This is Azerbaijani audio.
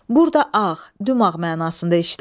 Burada ağ, dümağ mənasında işlənib.